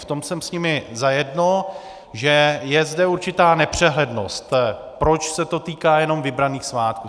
V tom jsem s nimi zajedno, že je zde určitá nepřehlednost, proč se to týká jenom vybraných svátků.